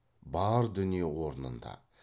бар дүние орнында